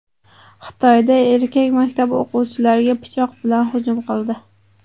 Xitoyda erkak maktab o‘quvchilariga pichoq bilan hujum qildi.